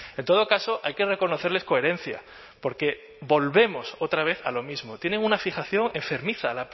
en todo caso hay que reconocerles coherencia porque volvemos otra vez a lo mismo tienen una fijación enfermiza